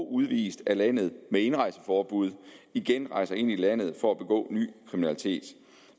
udvist af landet med et indrejseforbud igen rejser ind i landet for at begå ny kriminalitet